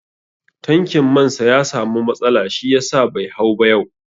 Tankin man sa ya samu matsala shi yasa bai hau ba yau